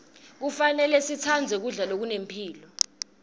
kufanele sitsandze kudla lokunemphilo